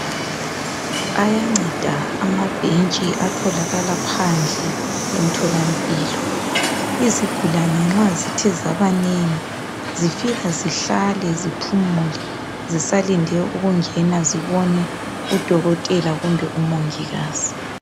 Ayanceda amabhentshi atholakala phandle emtholampilo izigulane nxazithe zabanengi zifika zihlale ziphule zisalinde ukungena zibone udokontela kumbe umogikazi